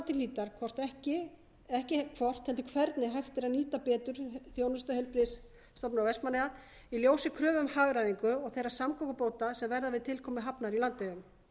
til hlítar ekki hvort heldur hvernig hægt er að nýta betur þjónustu heilbrigðisstofnunar vestmannaeyja í ljósi kröfu um hagræðingu og þeirra samgöngubóta sem verða við tilkomu hafnar í landeyjum